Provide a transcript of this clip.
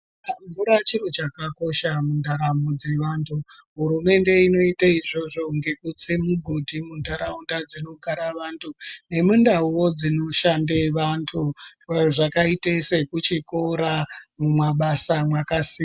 Mvura chiro chakakosha mundaramo dzevantu, hurumende inoite izvozvo ngekutse mugodhi mundaraunda dzinogara vantu, nemundauwo dzinoshande vantu, dzakaite sekuchikora, mumabasa mwakasiyana siyana.